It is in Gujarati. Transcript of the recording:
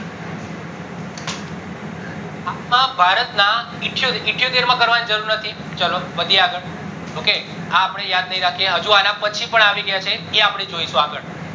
અખા ભારત ના એઠીયોતેર માં કરવાની જરૂર નથી વધીએ આગળ okay આ અપડે યાદ નહિ રાખીએ હજુ અન પછી પણ આવી ગયા છે એ અપડે જોસુ આગળ